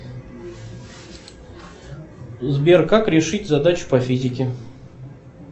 сбер как решить задачу по физике